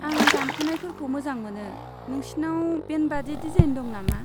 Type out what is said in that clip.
आं दानख'नायफोरखौ मोजां मोनो। नोंसिनाव बेन्डबादि डिजाइन दं नामा?